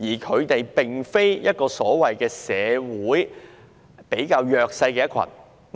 他們並非社會上比較弱勢的人。